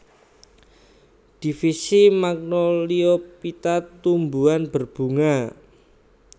Divisi Magnoliophyta Tumbuhan berbunga